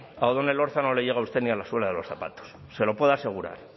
a odón elorza no le llega usted ni a la suela de los zapatos se lo puedo asegurar